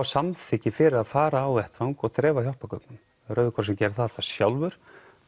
samþykki fyrir að fara á vettvang og dreifa hjálpargögnum rauði krossinn gerir það alltaf sjálfur